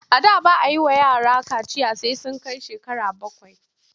A da ba a yi wa yara kaciya sai ya kai shekara bakwai.